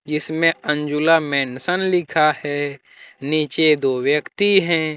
इसमें अंजुला मेंशन लिखा है नीचे दो व्यक्ति हैं।